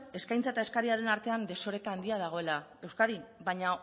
eskaintza eta eskariaren artean desoreka handia dagoela euskadin baina